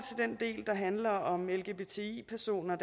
den del der handler om lgbti personer